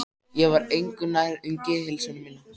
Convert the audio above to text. Ég var engu nær um geðheilsu mína.